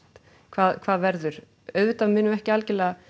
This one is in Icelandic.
hvað hvað verður auðvitað munum við ekki algerlega